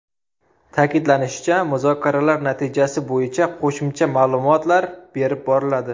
Ta’kidlanishicha, muzokaralar natijasi bo‘yicha qo‘shimcha ma’lumotlar berib boriladi.